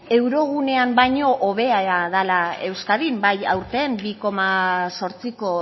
eurogunean baino hobea dela euskadin bai aurten bi koma zortziko